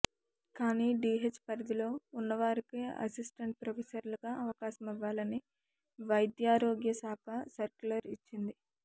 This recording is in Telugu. కానీ డీహెచ్ పరిధిలో ఉన్నవారికే అసిస్టెంట్ ప్రొఫెసర్లుగా అవకాశమివ్వాలని వైద్యారోగ్యశాఖ సర్క్యులర్ ఇచ్చింది